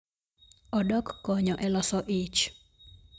Odok konyo e loso ich